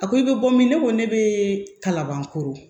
A ko i bɛ bɔ min ne ko ne bɛ kalabankoro